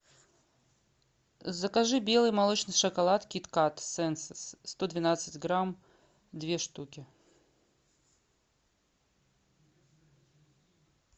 закажи белый молочный шоколад кит кат сенсес сто двенадцать грамм две штуки